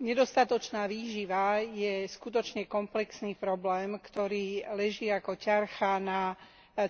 Nedostatočná výživa je skutočne komplexný problém, ktorý leží ako ťarcha na